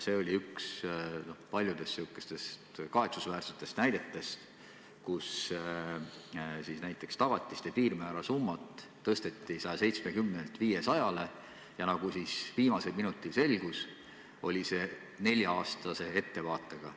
See oli üks paljudest kahetsusväärsetest näidetest, kus näiteks tagatiste piirmäära tõsteti 170-lt 500 miljonini ja nagu viimasel minutil selgus, oli see nelja-aastase ettevaatega.